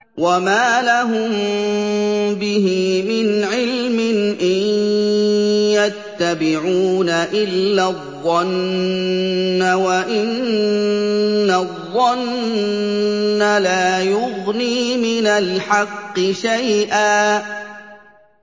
وَمَا لَهُم بِهِ مِنْ عِلْمٍ ۖ إِن يَتَّبِعُونَ إِلَّا الظَّنَّ ۖ وَإِنَّ الظَّنَّ لَا يُغْنِي مِنَ الْحَقِّ شَيْئًا